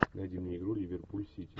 найди мне игру ливерпуль сити